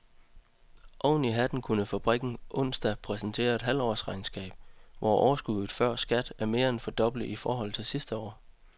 Oveni hatten kunne fabrikken onsdag præsentere et halvårsregnskab, hvor overskuddet før skat er mere end fordoblet i forhold til sidste år.